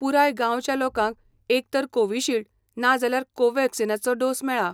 पुराय गांवच्या लोकांक एकतर कोविशिल्ड ना जाल्यार कोवॅक्सिनाचो डोस मेळा.